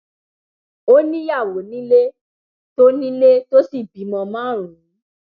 ó níyàwó nílé tó nílé tó sì bímọ márùnún